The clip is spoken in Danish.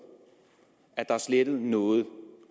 at der er slettet noget